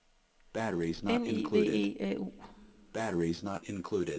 N I V E A U